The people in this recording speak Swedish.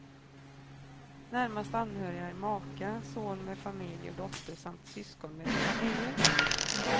Närmast anhöriga är maka, son med familj och dotter samt syskon med familjer.